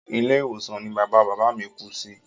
Ilé ìwòsàn ní bàbá bàbá a mí kú sí.